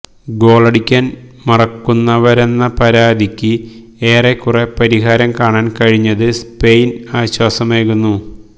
ഗോളടിക്കാന് മറക്കുന്നവരെന്ന പരാതിക്ക് ഏറക്കുറെ പരിഹാരം കാണാന് കഴിഞ്ഞത് സ്പെയിന് ആശ്വാസമേകുന്നു